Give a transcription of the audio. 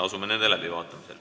Asume neid läbi vaatama.